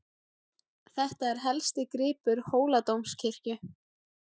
Þetta er helsti gripur Hóladómkirkju.